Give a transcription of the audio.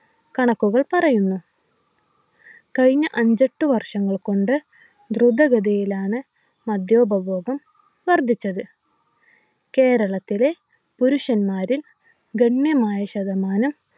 കണക്കുകൾ പറയുന്നു കഴിഞ്ഞ അഞ്ചെട്ടു വർഷങ്ങൾ കൊണ്ട് ദ്രുതഗതിയിലാണ് മദ്യോപഭോഗം വർധിച്ചത് കേരളത്തിലെ പുരുഷന്മാരിൽ ഗണ്യമായ ശതമാനം